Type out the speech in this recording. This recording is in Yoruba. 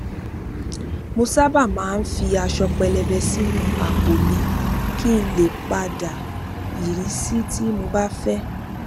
mo sábà fi aṣọ pẹlẹbẹ sínú àpò mi kí n lè pa dà irísí tí mo bá fẹ